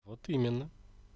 вот именно